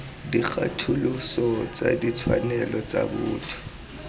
dikgatholoso tsa ditshwanelo tsa botho